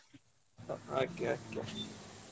Okay okay.